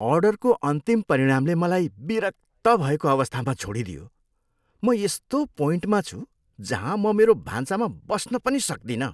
अर्डरको अन्तिम परिणामले मलाई विरक्त भएको अवस्थामा छोडिदियो। म यस्तो पोइन्टमा छु जहाँ म मेरो भान्सामा बस्न पनि सक्दिनँ।